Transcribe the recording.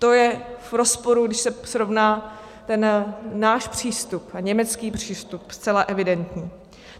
To je v rozporu, když se srovná ten náš přístup a německý přístup, zcela evidentní.